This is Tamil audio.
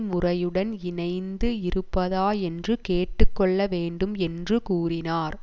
முறையுடன் இணைந்து இருப்பதா என்று கேட்டு கொள்ள வேண்டும் என்று கூறினார்